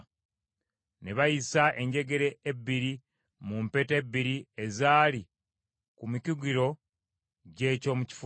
Ne bayisa enjegere ebbiri mu mpeta ebbiri ezaali ku mikugiro gy’eky’omu kifuba.